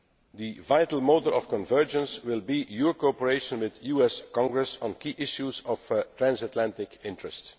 The vital motor of convergence will be your cooperation with the US Congress on key issues of transatlantic interest.